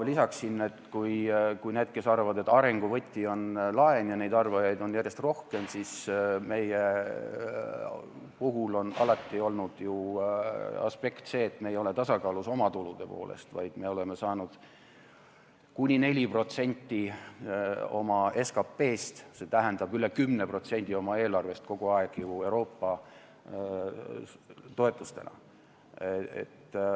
Lisan nendele, kes arvavad, et arengu võti on laen – neid arvajaid on järjest rohkem –, siis meie puhul on alati olnud ju see aspekt, et me ei ole olnud tasakaalus oma tulude poolest, vaid me oleme saanud kuni 4% oma SKP-st, st üle 10% oma eelarvest kogu aeg ju Euroopa toetustena.